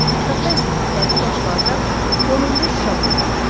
Ətrafda isə müxtəlif yaşlarda 10-15 uşaq oynayırdı.